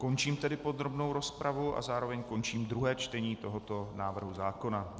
Končím tedy podrobnou rozpravu a zároveň končím druhé čtení tohoto návrhu zákona.